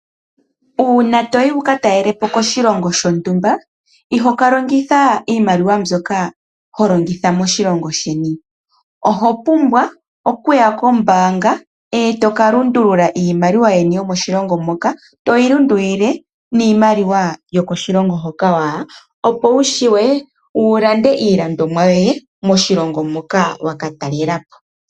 Uuna to yi wu ka talele po koshilongo shontumba, iho ka longitha iimaliwa mbyoka ho longitha moshilongo sheni. Oho pumbwa okuya kombaanga e to ka lundulula iimaliwa yeni yokoshilongo hoka to yi lundululile miimaliwa yokoshilongo hoka wa ya, opo wu vule okulanda iilandomwa yoye moshilongo moka wa ka talela po.